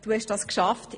Du hast das geschafft.